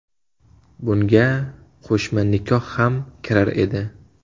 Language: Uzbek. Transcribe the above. Bunga qo‘shma nikoh ham kirar edi.